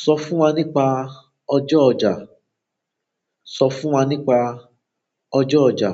Sọ fún wa nípa ọjọ́ ọjà. Sọ fún wa nípa ọjọ́ ọjà.